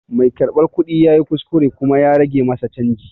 Mai karɓar kuɗi ya yi kuskure kuma ya rage masa canji.